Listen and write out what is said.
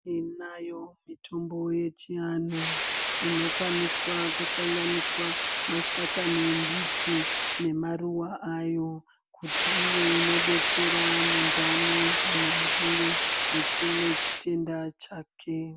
Tinayo mitombo yechiantu inokwanisa kusanganiswa yakange miti nemaruwa ayo kuti ive inodetsera mundani kana achinge achine nechutenda chake.